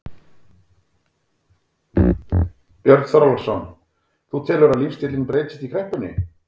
Björn Þorláksson: Þú telur að lífstíllinn breytist í kreppunni?